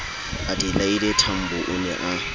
adelaide tambo o ne a